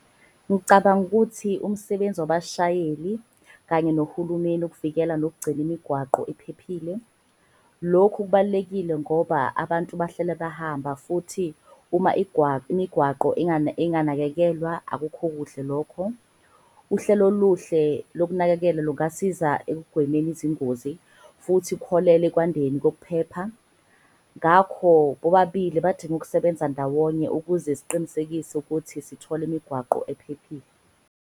Ngicabanga ukuthi umsebenzi wabashayeli kanye nohulumeni ukuvikela nokugcina imigwaqo iphephile. Lokhu kubalulekile ngoba abantu bahlala bahamba futhi uma imigwaqo inganakekelwa, akukho kuhle lokho. Uhlelo oluhle lokunakekela lungasiza ekugwemeni izingozi futhi kuholele ekwandeni kokuphepha. Ngakho bobabili badinga ukusebenza ndawonye ukuze siqinisekise ukuthi sithola imigwaqo ephephile.